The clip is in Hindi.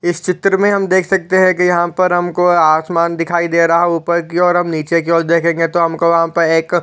इस चित्र मे हम देख सकते है की यहाँ पर हमको आसमान दिखाई दे रहा ऊपर को ओर हम निचे कि ओर देखेगे तो हमको यहाँ पर एक--